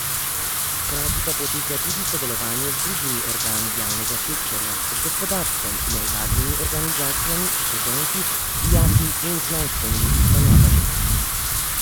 Hkrati pa poteka tudi sodelovanje z drugimi organi javnega sektorja, z gospodarstvom, nevladnimi organizacijami, študenti, dijaki in znanstvenimi ustanovami.